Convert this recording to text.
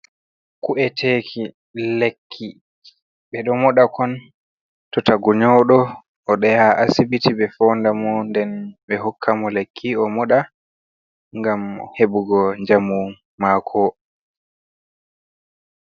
ku’eteeki lekki, ɓe ɗo moɗa kon to tagu nyawɗo o ɗo yaha asibiti ɓe foonda mo, nden ɓe hokka mo lekki o moɗa ngam heɓugo njamu maako.